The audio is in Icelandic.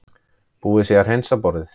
Búið sé að hreinsa borðið.